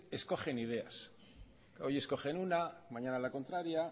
escogen ideas hoy escogen una mañana la contraria